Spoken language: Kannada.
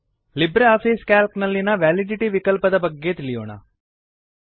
ಲಿಬ್ರೆ ಆಫಿಸ್ ಕ್ಯಾಲ್ಕ್ ನಲ್ಲಿನ ವ್ಯಾಲಿಡಿಟಿ ವಿಕಲ್ಪದ ಬಗೆಗೆ ತಿಳಿಯೋಣ